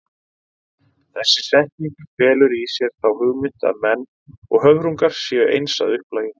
Þessi setning felur í sér þá hugmynd að menn og höfrungar séu eins að upplagi.